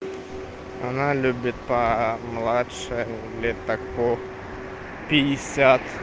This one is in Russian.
она любит по помладше лет так по пятьдесят